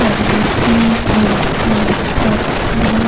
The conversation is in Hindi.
फॉर वर्कशॉप लिखा हुआ है।